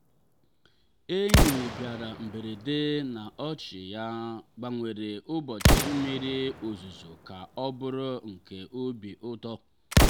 enyi bịara mberede na ọchị ya gbanwere ụbọchị mmiri ozuzo ka ọ bụrụ nke obi ụtọ.